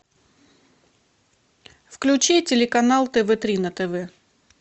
включи телеканал тв три на тв